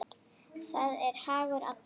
Það er hagur allra.